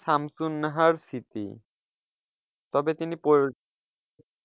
সামসুন্নাহর স্মৃতি তবে তিনি পরী,